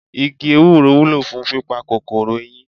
Igi Ewúro wúlò fún pípa kòkòrò eyín.